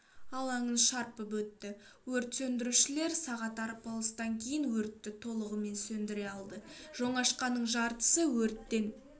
алаңын шарпып өтті өрт сөндірушілер сағат арпалыстан кейін өтті толығымен сөндіре алды жоңашқанын жартысы өрттен